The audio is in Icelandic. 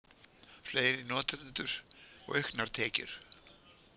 Fleiri notendur og auknar tekjur